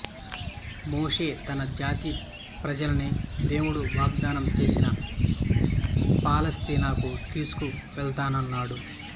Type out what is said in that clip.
మోషే తన జాతి ప్రజల్ని దేవుడు వాగ్దానం చేసిన పాలస్తీనాకు తీసుకువెళతానంటాడు